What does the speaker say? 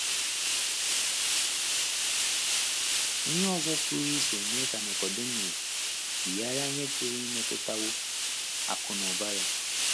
Ihe ọzọ pụrụ iso mee ka Nikọdimọs yigharịa ihe pụrụ imetụtawo akụ̀ na ụba ya.